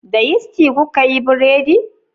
Da yisti kuka yi buredi?